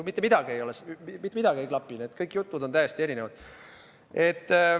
Mitte midagi ei klapi, kõik jutud on täiesti erinevad.